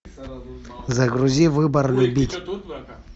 загрузи выбор любить